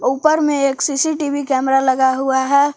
ऊपर में एक सी_सी टी_वी कैमरा लगा हुआ है।